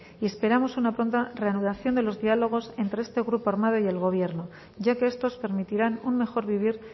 y esperamos una pronta reanudación de los diálogos entre este grupo armado y el gobierno ya que estos permitirán un mejor vivir